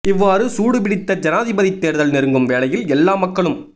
இவ்வாறு சூடு பிடித்த ஜனாதிபதி தேர்தல் நெருங்கும் வேளையில் எல்லா மக்களும்